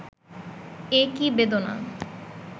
এ কি বেদনা